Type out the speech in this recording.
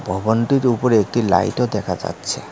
ভবনটির উপরে একটি লাইটও দেখা যাচ্ছে।